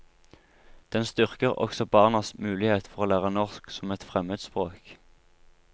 Den styrker også barnas mulighet for å lære norsk som et fremmedspråk.